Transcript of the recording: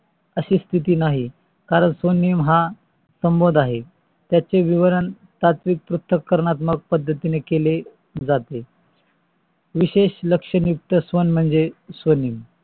अशी स्तिती नाही कारण स्वनेम हा संभोध आहे. त्याचे विवरण सात्विक पूर्णात्मक पद्धतीने केले जाते विशेश लक्षणे युक्त स्वन म्हणजे स्वने